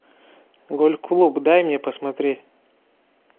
гольф клуб дай мне посмотреть